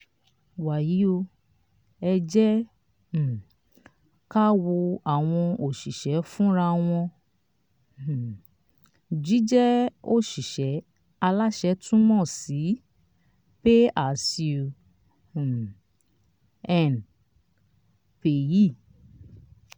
wàyí o ẹ jẹ́ um ká wo àwọn òṣìṣẹ́ fúnra wọn; um jíjẹ́ òṣìṣẹ́ aláṣẹ túmọ̀ sí pay as you um earn (paye).